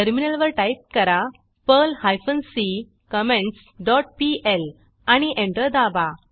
टर्मिनलवर टाईप करा Perl hyphen c comments dot PL आणि एंटर दाबा